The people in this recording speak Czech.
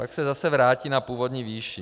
Pak se zase vrátí na původní výši.